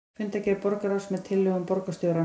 Fundargerð borgarráðs með tillögum borgarstjóra